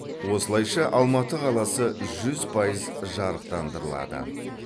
осылайша алматы қаласы жүз пайыз жарықтандырылады